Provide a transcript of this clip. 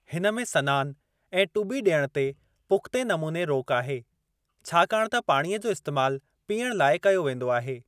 हिन में सनानु ऐं टुॿी ॾियणु ते पुख़्ते नमूने रोक आहे छाकाणि त पाणीअ जो इस्तेमालु पीअण लाइ कयो वेंदो आहे।